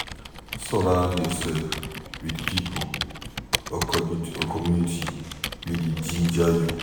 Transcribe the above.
Surround yourself with pipo or community wey dey ginger you